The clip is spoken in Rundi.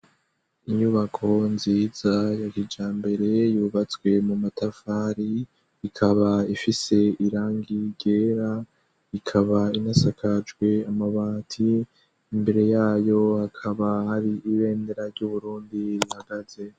Inyubako nziza yagija mbere yubatswe mu matafari ikaba ifise irangi gera ikaba inasakajwe amabati imbere yayo akaba ari ibendera ry'uburundi nagaze.